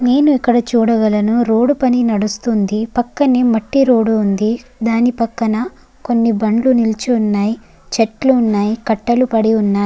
నేన్ ఇక్కడ చూడగలను రోడ్ పని నడుస్తుంది పక్కనే మట్టి రోడ్ వుంది దాని పక్కన కొన్ని బండులు నిలిచి వున్నాయ్ చెట్లు వున్నాయ్ కట్టలు పడి వున్నాయ్.